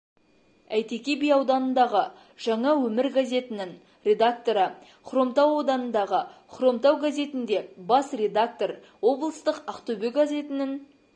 әйтеке би ауданындағы жаңа өмір газетінің редакторы хромтау ауданындағы хромтау газетінде бас редактор облыстық ақтөбе газетінің